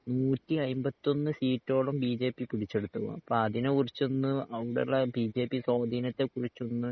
നൂറ്റി അയ്മ്പത്തൊന്ന് സീറ്റോളം ബിജെപി പിടിച്ചെടുത്ത് കാണും അപ്പൊ അതിനെ കുറിച്ചൊന്ന് ബിജെപി സ്വാധീനത്തെ കുറിച്ചൊന്ന്